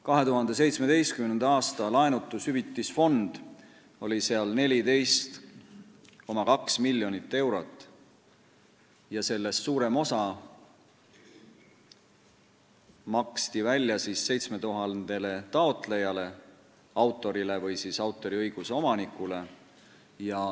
2017. aasta laenutushüvitisfond oli seal 14,2 miljonit eurot ja sellest suurem osa maksti välja 7000 taotlejale, autorile või autoriõiguse omanikule.